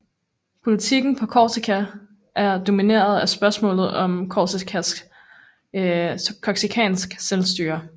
Politikken på Korsika er domineret af spørgsmålet om korsikansk selvstyre